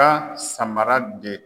samara de